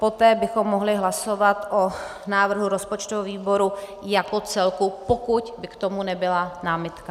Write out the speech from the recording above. Poté bychom mohli hlasovat o návrhu rozpočtového výboru jako celku, pokud by k tomu nebyla námitka.